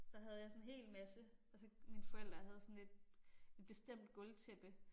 Så havde jeg sådan en hel masse og så mine forældre havde sådan et et bestemt gulvtæppe